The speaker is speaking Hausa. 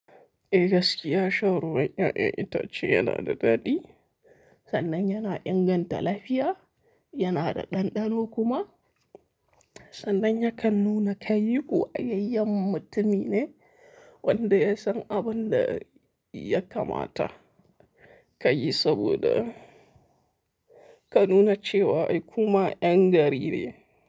Eh gaskiya, shan ruwan ƴaƴan itace yana da daɗi sannan yana inganta lafiya, yana da ɗanɗano kuma sannan yakan nuna kai kokayayyen mutumi ne wanda ya san abin da ya kamata ka yi saboda ka nuna cewa ai kuma ƴan gari ne.